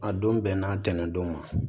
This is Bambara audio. A don bɛn na tɛnɛndon ma